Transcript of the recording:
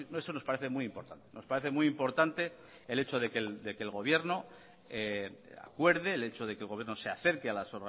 eso nos parece muy importante nos parece muy importante el hecho de que el gobierno acuerde el hecho de que el gobierno se acerque a las